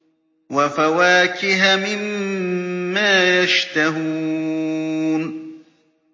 وَفَوَاكِهَ مِمَّا يَشْتَهُونَ